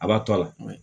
A b'a to a la kuma bɛɛ